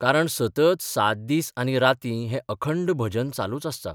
कारण सतत सात दीस आनी राती हें अखंड भजन चालूच आसता.